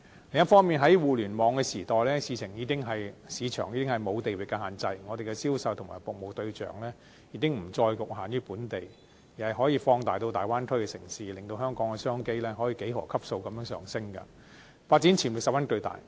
另一方面，在互聯網的時代，市場已經沒有地域限制，香港的銷售和服務對象已經不再局限於本地，而是可以放大至大灣區的城市，令香港的商機可以幾何級數地上升，發展潛力十分巨大。